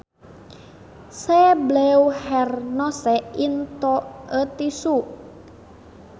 She blew her nose into a tissue